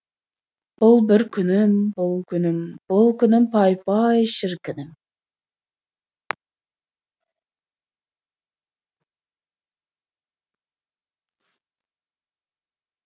бұл бір күнім бұл күнім бұл күнім пай пай шіркінім